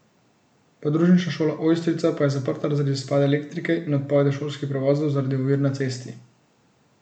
Podružnična šola Ojstrica pa je zaprta zaradi izpada elektrike in odpovedi šolskih prevozov zaradi ovir na cesti.